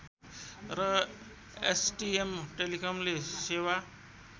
र एसटिएम टेलिकमले सेवा